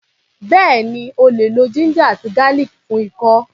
Bẹ́ẹ̀ni, o lè lo ginger àti garlic fún ikọ́.